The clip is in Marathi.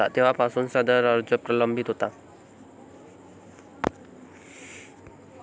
तेव्हापासून सदर अर्ज प्रलंबित होता.